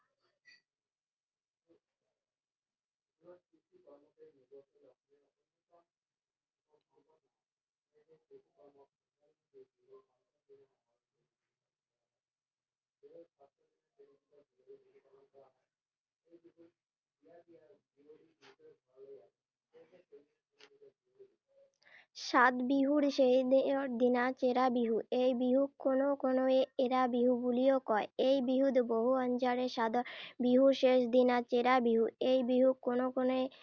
সাত বিহুৰ শেষৰ দিনা চেৰা বিহু। এই বিহুক কোনো কোনোয়ে এৰা বিহু বুলিও কয়। এই বিহুত বহু আঞ্জাৰে, সাত বিহুৰ শেষৰ দিনা চেৰা বিহু। এই বিহুক কোনো কোনোৱে